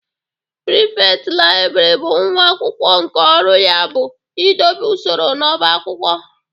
Prịfektị Library bụ nwa akwụkwọ nke ọrụ ya bụ idobe usoro n'ọbá akwụkwọ.